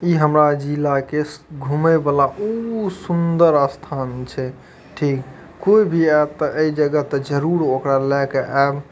इ हमरा जिला के घूमे वाला उ सूंदर स्थान छै ठीक कोई भी आइत तो ऐ जगह त जरूर ओकरा लेके ऐब --